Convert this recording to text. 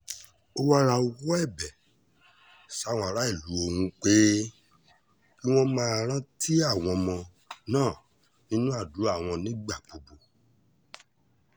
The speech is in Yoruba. ó wáá rawọ́ ẹ̀bẹ̀ sáwọn aráàlú ọ̀hún pé kí wọ́n máa rántí àwọn ọmọ náà nínú àdúrà wọn nígbà gbogbo